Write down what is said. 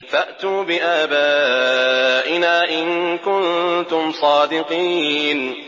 فَأْتُوا بِآبَائِنَا إِن كُنتُمْ صَادِقِينَ